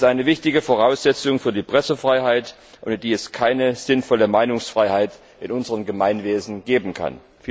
Das ist eine wichtige Voraussetzung für die Pressefreiheit, ohne die es keine sinnvolle Meinungsfreiheit in unserem Gemeinwesen geben kann.